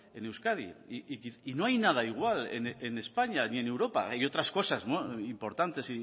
en euskadi y no hay nada igual en españa ni en europa hay otras cosas importantes